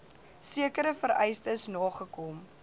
sekere vereistes nagekom